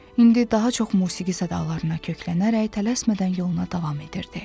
İndi daha çox musiqi zədalarına köklənərək tələsmədən yoluna davam edirdi.